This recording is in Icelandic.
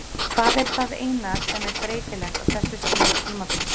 Hvað er það eina sem er breytilegt á þessu stigi tímabilsins?